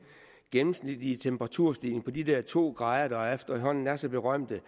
gennemsnitlige temperaturstigning på de der to grader der efterhånden er så berømte